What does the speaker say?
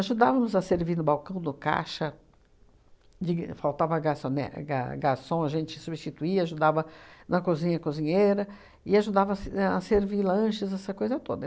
a servir no balcão no caixa, faltava garçone gar garçom, a gente substituía, ajudava na cozinha, cozinheira, e ajudava a se ahn a servir lanches, essa coisa toda.